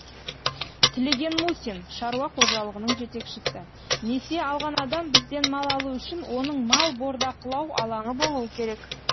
тілеген мусин шаруа қожалығының жетекшісі несие алған адам бізден мал алу үшін оның мал бордақылау алаңы болуы керек